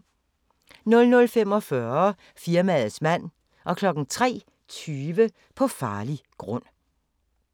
00:45: Firmaets mand 03:20: På farlig grund